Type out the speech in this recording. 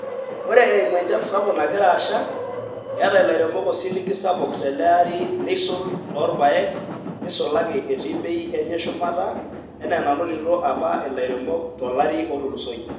ore eimu enchan sapuk nagira asha keeta ilairemok osiligi sapuk te ele ari neisul too irpaek neisulaki etii bei enye shumata enaa enanotito apa ilairemok to lari otulusoyie.